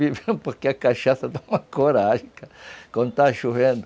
Bebia, porque a cachaça dá uma coragem, quando está chovendo.